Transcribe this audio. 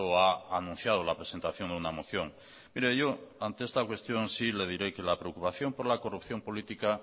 ha anunciado la presentación de una moción mire yo ante esta cuestión sí le diré que la preocupación por la corrupción política